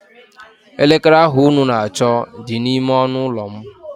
Elekere ahụ unu na-achọ dị n'ime ọnụụlọ m